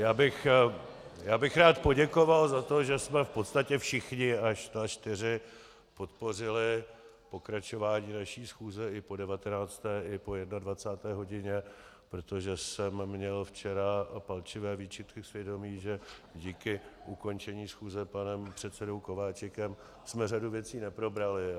Já bych rád poděkoval za to, že jsme v podstatě všichni až na čtyři podpořili pokračování naší schůze i po 19. i po 21. hodině, protože jsem měl včera palčivé výčitky svědomí, že díky ukončení schůze panem předsedou Kováčikem jsme řadu věcí neprobrali.